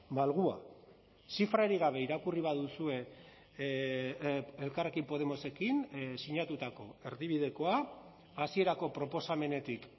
malgua zifrarik gabe irakurri baduzue elkarrekin podemosekin sinatutako erdibidekoa hasierako proposamenetik